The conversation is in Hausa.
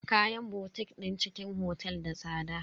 Kayan botik din cikin otel da tsada.